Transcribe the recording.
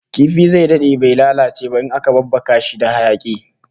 Kifi zai dade bai lalace ba in aka babbaka shi da hayaki